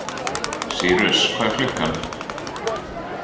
Sýrus, hvað er klukkan?